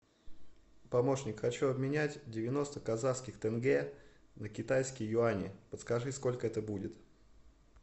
помощник хочу обменять девяносто казахских тенге на китайские юани подскажи сколько это будет